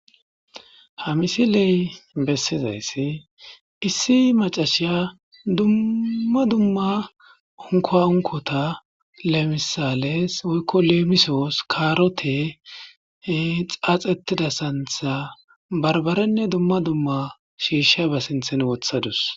ha misiley bessizayssi issi macashiya dumma dumma unkoa unkota lemisales woykko leemisoos kaarote xaaxettida santha barbaranne dumma dumma shiisha ba sinthen wothadus